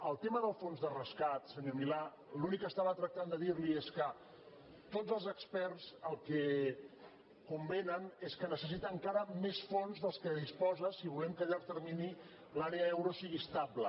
el tema del fons de rescat senyor milà l’únic que estava tractant de dir li és que tots els experts el que convenen és que necessita encara més fons dels que disposa si volem que a llarg termini l’àrea euro sigui estable